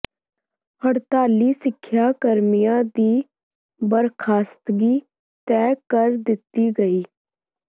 ਹੜਤਾਲੀ ਸਿੱਖਿਆ ਕਰਮੀਆਂ ਦੀ ਬਰਖਾਸਤਗੀ ਤੈਅ ਕਰ ਦਿੱਤੀ ਗਈ